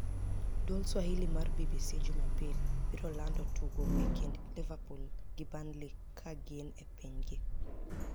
Duol swahili mar BBC jumjumapil biro lanido tugo e kinid Liverpool gi Burniley kagini e piniy gi.